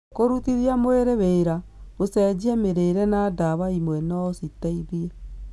Kũrutithia mwĩrĩ wĩra, gũcenjia mĩrĩre na ndawa imwe no citeithie.